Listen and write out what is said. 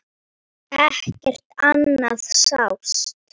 Ekkert annað sást.